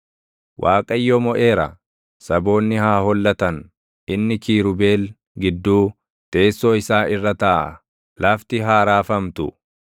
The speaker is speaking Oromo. Waaqayyo moʼeera; saboonni haa hollatan; inni kiirubeel gidduu, teessoo isaa irra taaʼa; lafti haa raafamtu.